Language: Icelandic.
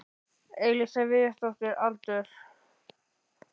Elísa Viðarsdóttir Aldur?